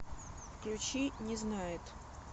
включи не знает